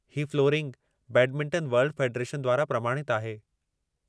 ही flooring badminton world federation द्वारां प्रमाणितु आहे।